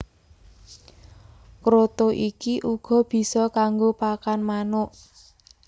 Kroto iki uga bisa kanggo pakan manuk